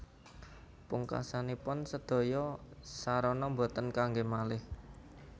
Pungkasanipun sedaya sarana boten kangge maleh